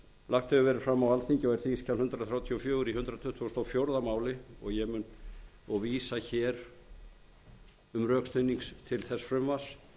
lagt hefur verið fram á alþingi á þingskjali hundrað þrjátíu og fjögur í hundrað tuttugasta og fjórða máli er vísað til þess um frekari